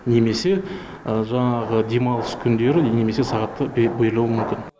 немесе жаңағы демалыс күндері немесе сағаттар берілуі мүмкін